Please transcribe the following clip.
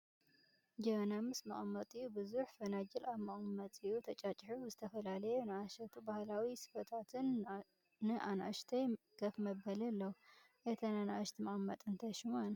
ጀበና ምስ መቐመጢኡ ፣ብዙሕ ፈናጅል ኣብ መቐመጢኡ ተጫጪሑ፣ ዝተፈላለየ ኑኣሽቱ ባህላዊ ስፈታት ን ኣናኡሽተይ ከፍመበሊ ኣለዉ፡ እተን ኣናኡሽቲ መቐመጢ እንታይ ሹመን ?